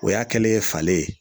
O y'a kɛlen ye falen ye.